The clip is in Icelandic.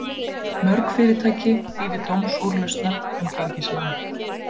Mörg fyrirtæki bíði dómsúrlausnar um gengislán